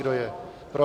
Kdo je pro?